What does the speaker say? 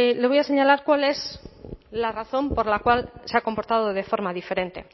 le voy a señalar cuál es la razón por la cual se ha comportado de forma diferente